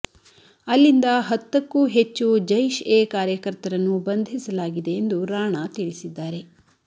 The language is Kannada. ಅಲ್ಲಿಂದ ಹತ್ತಕ್ಕೂ ಹೆಚ್ಚು ಜೈಷೆ ಕಾರ್ಯಕರ್ತರನ್ನು ಬಂಧಿಸಲಾಗಿದೆ ಎಂದು ರಾಣಾ ತಿಳಿಸಿದ್ದಾರೆ